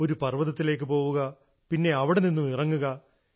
ഒരു പർവ്വതത്തിലേക്ക് പോവുക പിന്നെ അവിടെ നിന്നുമിറങ്ങുക